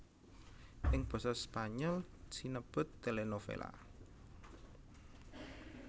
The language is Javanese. Ing basa Spanyol sinebut télénovela